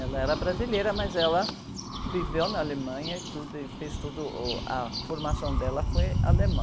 Ela era brasileira, mas ela viveu na Alemanha e tudo, e fez tudo, uh, a formação dela foi alemã.